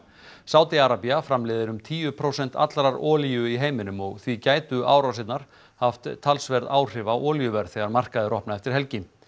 Sádi Arabía framleiðir um tíu prósent allrar olíu í heiminum og því gætu árásirnar haft talsverð áhrif á olíuverð þegar markaðir opna eftir helgi